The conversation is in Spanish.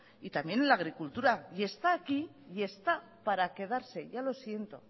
y también en la agricultura y está aquí y está para quedarse ya lo siento